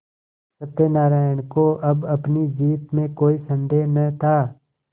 सत्यनाराण को अब अपनी जीत में कोई सन्देह न था